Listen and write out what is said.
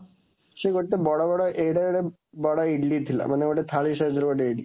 ସେ ଗୋଟେ ବଡ଼ ବଡ଼, ଏଡ଼େ ଏଡ଼େ ବଡ଼ ଇଡଲି ଥିଲା, ମାନେ ଗୋଟେ ଥାଳି size ର ଗୋଟେ ଇଡଲି।